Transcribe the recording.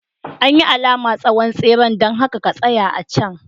An yi alama tsawon tseren, don haka ka tsaya a can.